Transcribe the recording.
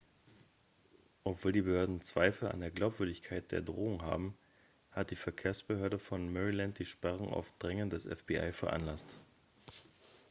obgleich die behörden zweifel an der glaubwürdigkeit der drohung haben hat die verkehrsbehörde von maryland die sperrung auf drängen des fbi veranlasst